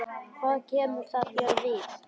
Hvað kemur það þér við?